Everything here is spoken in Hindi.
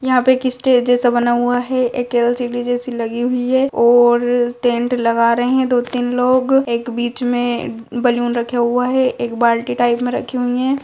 यहाँ पे एक स्टेज जैसा बना हुआ है एक एल.सी.डी. जैसी लगी हुई है और टेंट लगा रहे हैं दो तीन लोग एक बीच में बैलून रखे हुए हैं एक बाल्टी टाइप मे रखी हुई है।